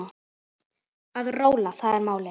Að róla, það er málið.